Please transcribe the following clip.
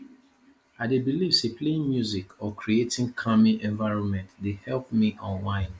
i dey believe say playing music or creating calming environment dey help me unwind